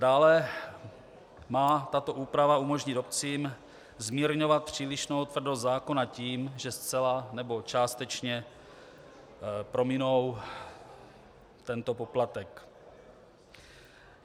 Dále má tato úprava umožnit obcím zmírňovat přílišnou tvrdost zákona tím, že zcela nebo částečně prominou tento poplatek.